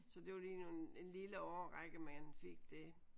Så det var lige en lille årrække man fik det